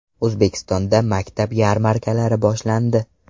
O‘zbekistonda maktab yarmarkalari boshlandi.